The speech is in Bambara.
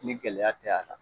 Ni gɛlɛyaya tɛ a la